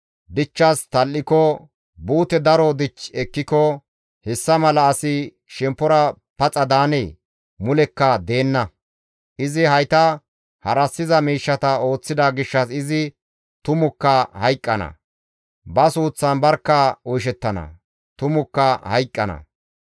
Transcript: dichchas tal7iko, buute daro dich ekkiko, hessa mala asi shemppora paxa daanee? Mulekka deenna! Izi hayta harassiza miishshata ooththida gishshas izi tumukka hayqqana; ba suuththan barkka oyshettana; tumukka hayqqana.